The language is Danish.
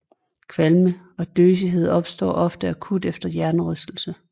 Kvalme og døsighed opstår ofte akut efter hjernerystelse